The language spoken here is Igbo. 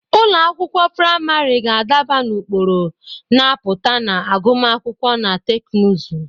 Ụlọ akwụkwọ praịmarị ga-adaba n'ụkpụrụ na-apụta na agụmakwụkwọ na teknụzụ.